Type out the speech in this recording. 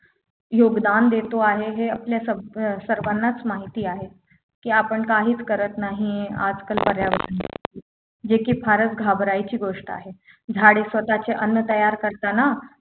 योगदान देत आहे हे आपल्या साग अं सर्वांनाच माहिती आहे की आपण काहीच करत नाही आजकाल पर्यावरणासाठी जे की फारच घाबरायची गोष्ट आहे झाडे स्वतःचे अन्न तयार करताना